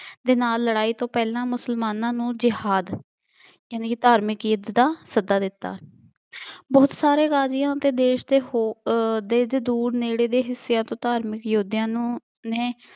ਦੇ ਨਾਲ ਲੜਾਈ ਤੋਂ ਪਹਿਲਾਂ ਮੁਸਲਮਾਨਾਂ ਨੂੰ ਯਿਹਾਦ ਯਾਨੀ ਕਿ ਧਾਰਮਿਕ ਕੀਰਤ ਦਾ ਸੱਦਾ ਦਿੱਤਾ। ਬਹੁਤ ਸਾਰੇ ਕਾਜ਼ੀਆਂ ਅਤੇ ਦੇਸ਼ ਦੇ ਹੋਰ ਅਹ ਦੇਸ਼ ਦੇ ਦੂਰ ਨੇੜੇ ਦੇ ਹਿੱਸਿਆਂ ਤੋਂ ਧਾਰਮਿਕ ਯੋਧਿਆਂ ਨੂੰ ਨੇ